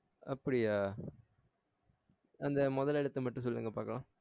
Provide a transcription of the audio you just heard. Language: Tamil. அப்புடியா அந்த முதல் எழுத்த மட்டும் சொல்லுங்க பாக்கலாம்